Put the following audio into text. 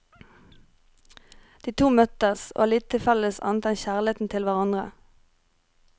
De to møtes, og har lite felles annet enn kjærligheten til hverandre.